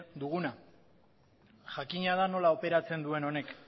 duguna jakina da nola operatzen duen honek